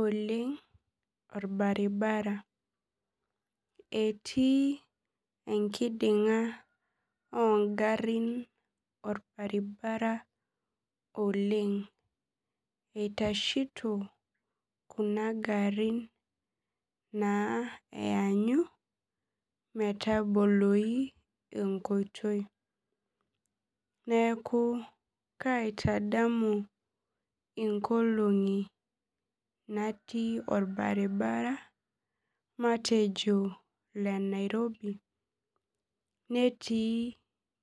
oleng orbaribara etii enkidinga ongarin orbaribara oleng itashito kuna garin eeanyu metaboloi enkoitoi neaku kaitadamu inkolongi natii orbaribara matejo le nairobi netii